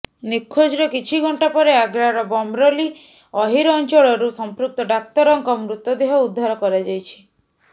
ନିଖୋଜର କିଛି ଘଣ୍ଟା ପରେ ଆଗ୍ରାର ବମରୋଲି ଅହିର ଅଞ୍ଚଳରୁ ସମ୍ପୃକ୍ତ ଡାକ୍ତରଙ୍କ ମୃତଦେହ ଉଦ୍ଧାର କରାଯାଇଛି